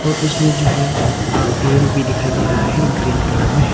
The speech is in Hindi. और इसमें जो है आ पेड़ भी दिखाई दे रहा है ग्रीन कलर में।